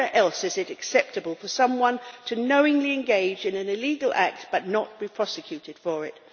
Where else is it acceptable for someone to knowingly engage in an illegal act but not be prosecuted for it?